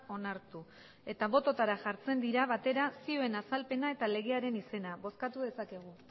onartu eta botoetara jartzen dira batera zioen azalpena eta legearen izena bozkatu dezakegu